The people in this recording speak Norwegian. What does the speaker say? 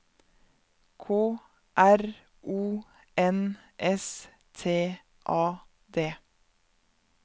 K R O N S T A D